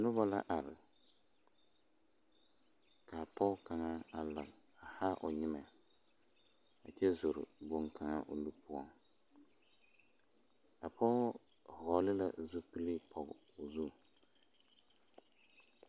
Noba la are ka a pɔge kaŋa a la haa nyemɛ a kyɛ zore boŋkaŋa o nu poɔ a pɔge vɔgle la zupili pɔge o zu.